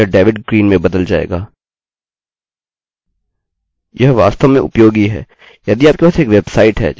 यह वास्तव में उपयोगी है यदि आपके पास एक वेबसाइट है जिसमें आप विडियो या व्यक्तिगत फोटो रखते हैं